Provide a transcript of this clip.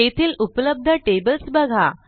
तेथील उपलब्ध टेबल्स बघा